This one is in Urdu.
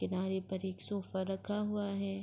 کنارے پر ایک سوفا رکھا ہوا ہے۔